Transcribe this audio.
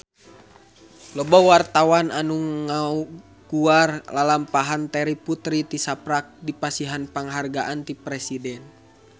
Loba wartawan anu ngaguar lalampahan Terry Putri tisaprak dipasihan panghargaan ti Presiden